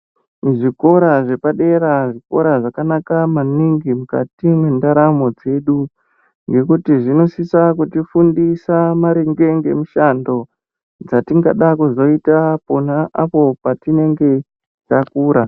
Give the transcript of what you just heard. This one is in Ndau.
Muzvikora zvepadera zvikora zvakanaka maningi mukati mwendaramo yedu ngekuti zvinosisa kutifundisa maringe nemishando dzatingada kuzoita pona apo takura.